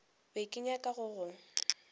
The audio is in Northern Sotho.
be ke nyaka go go